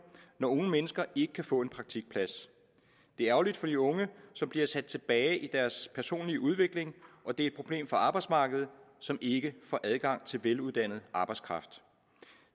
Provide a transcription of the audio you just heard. når unge mennesker ikke kan få en praktikplads det er ærgerligt for de unge som bliver sat tilbage i deres personlige udvikling og det er et problem for arbejdsmarkedet som ikke får adgang til veluddannet arbejdskraft